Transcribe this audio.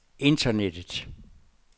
internettet